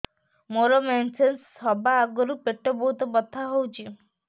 ମୋର ମେନ୍ସେସ ହବା ଆଗରୁ ପେଟ ବହୁତ ବଥା ହଉଚି